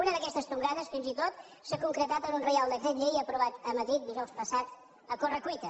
una d’aquestes tongades fins i tot s’ha concretat en un reial decret llei aprovat a madrid dijous passat a corre cuita